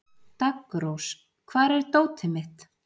Daggrós, hvar er dótið mitt?